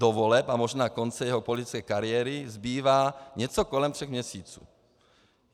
Do voleb a možná konce jeho politické kariéry zbývá něco kolem tří měsíců.